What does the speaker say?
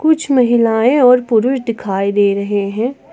कुछ महिलाएं और पुरुष दिखाई दे रहे हैं।